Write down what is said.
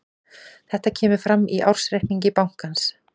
Þetta kemur fram í ársreikningi bankans